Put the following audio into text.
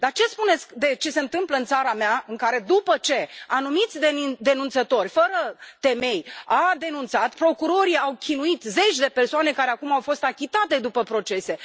Dar ce spuneți de ce se întâmplă în țara mea, în care, după ce anumiți denunțători, fără temei, au denunțat, procurorii au chinuit zeci de persoane, care acum au fost achitate după procese.